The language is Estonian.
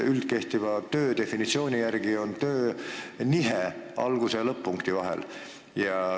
Üldkehtiva töö definitsiooni järgi on töö nihe algus- ja lõpp-punkti vahel.